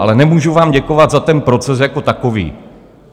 Ale nemůžu vám děkovat za ten proces jako takový.